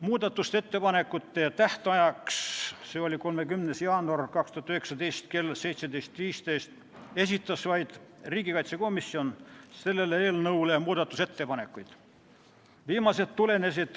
Muudatusettepanekute esitamise tähtajaks, mis oli 30. jaanuaril 2019 kell 17.15, esitas vaid riigikaitsekomisjon selle eelnõu kohta muudatusettepanekuid.